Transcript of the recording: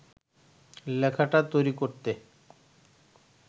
লেখাটা তৈরি করতে